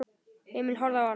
Emil horfði á hann.